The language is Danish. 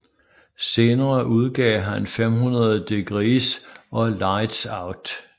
Senere udgav han 500 Degreez og Lightz Out